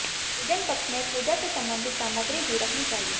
पूजन कक्ष में पूजा से संबंधित सामग्री ही रखनी चाहिए